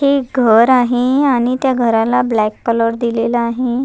हे एक घर आहे आणि त्या घराला ब्लॅक कलर दिलेला आहे.